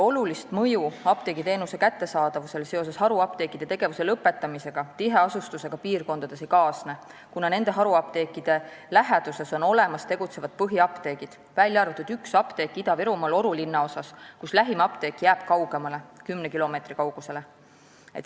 Suurt mõju apteegiteenuse kättesaadavusele seoses haruapteekide tegevuse lõpetamisega tiheasustusega piirkondades ei kaasne, kuna haruapteekide läheduses on olemas tegutsevad põhiapteegid, v.a üks apteek Ida-Virumaal Oru linnaosas, kus lähim apteek jääb kaugemale, kümne kilomeetri kaugusele.